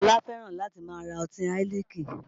Ọlá fẹ́ràn láti máa ra ọtí Heineken